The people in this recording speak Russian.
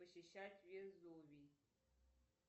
посещать везувий